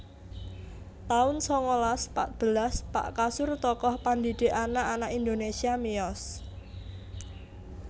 taun sangalas patbelas Pak Kasur tokoh pandhidhik anak anak Indonesia miyos